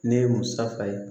Ne ye musaka ye